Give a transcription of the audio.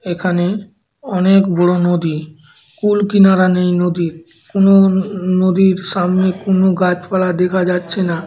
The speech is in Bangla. এখানে অনেক বড়ো নদী। কুল কিনারা নেই নদীর। কোন ন নদীর সামনে কোন গাছপালা দেখা যাচ্ছে না।